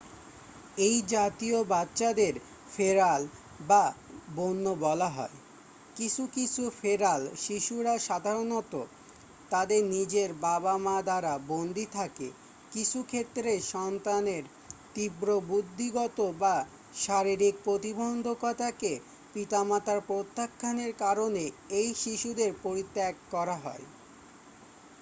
"""এই জাতীয় বাচ্চাদের" "ফেরাল" "বা বন্য বলা হয়। কিছু কিছু "ফেরাল" শিশুরা সাধারণত তাদের নিজের বাবা-মা দ্বারা বন্দি থাকে; কিছু ক্ষেত্রে সন্তানের তীব্র বুদ্ধিগত বা শারীরিক প্রতিবন্ধকতাকে পিতামাতার প্রত্যাখ্যানের কারণে এই শিশুদের পরিত্যাগ করা হয় "